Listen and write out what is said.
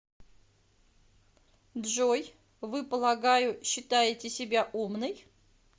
джой вы полагаю считаете себя умной